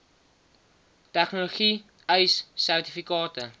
tegnologie ace sertifikate